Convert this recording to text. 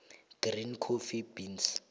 green coffee beans